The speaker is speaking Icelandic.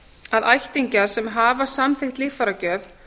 að ættingjar sem hafa samþykkt líffæragjöf